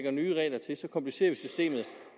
synes